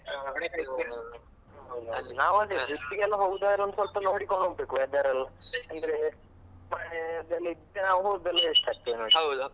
ನಾವಂದ್ರೆ trip ಗೆಲ್ಲ ಹೋಗ್ಬೇಕಾದ್ರೆ ಒಂದ್ ಸ್ವಲ್ಪ ನೋಡಿಕೊಂಡು ಹೋಗ್ಬೇಕು weather ಎಲ್ಲ ಅಂದ್ರೆ ಮಳೆ ಚಳಿ ಮತ್ತೆ ಹೋದ್ರೆ waste ಆಗ್ತದಲ್ವಾ